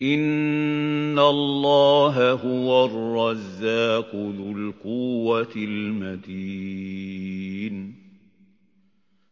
إِنَّ اللَّهَ هُوَ الرَّزَّاقُ ذُو الْقُوَّةِ الْمَتِينُ